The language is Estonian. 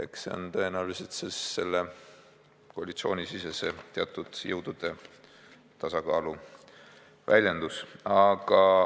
Eks see on tõenäoliselt koalitsioonisisese teatud jõudude tasakaalu väljendus.